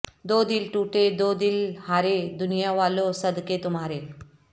دو دل ٹوٹے دو دل ہارے دنیا والو صدقے تمہارے